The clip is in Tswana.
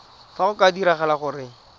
fa go ka diragala gore